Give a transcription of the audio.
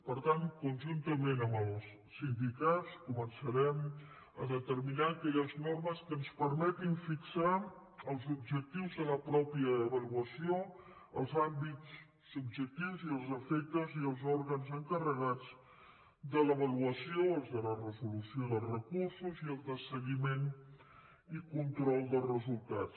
per tant conjuntament amb els sindicats començarem a determinar aquelles normes que ens permetin fixar els objectius de la pròpia avaluació els àmbits subjectius i els efectes i els òrgans encarregats de l’avaluació els de la resolució dels recursos i el de seguiment i control de resultats